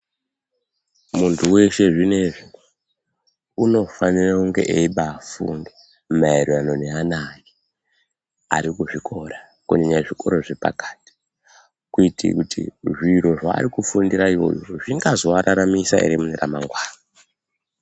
Munthu weshe zvinezvi, unofanire kunge eibaafunda, maererano neana ake, ari kuzvikora, kunyanya zvikoro zvepakati, kuite kuti zviro zveari kufundira uyozvo zvingazoararamisa ere remangwana.